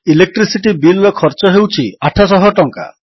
electricity Billର ଖର୍ଚ୍ଚ ହେଉଛି 800 ଟଙ୍କା